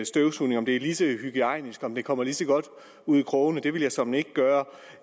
støvsuger om det er lige så hygiejnisk og om den kommer lige så godt ud i krogene men det vil jeg såmænd ikke